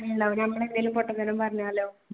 ഉണ്ടാവൂല നമ്മൾ എന്തെങ്കിലും പൊട്ടത്തരം പറഞ്ഞാലോ.